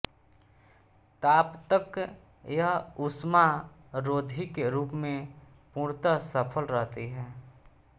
ताप तक यह ऊष्मारोधी के रूप में पूर्णत सफल रहती है